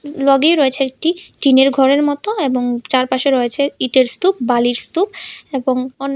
লগেই রয়েছে একটি টিনের ঘরের মতো এবং চারপাশে রয়েছে ইটের স্তূপ বালির স্তূপ এবং অন্যা--